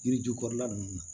Yiri ju kɔrɔla nunnu na